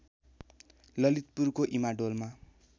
ललितपुरको इमाडोलमा